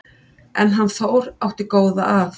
En hann Þór átti góða að.